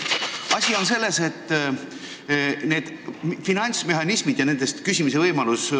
Asi on selles, et mind huvitavad need finantsmehhanismid ja nendest laenu küsimise võimalus.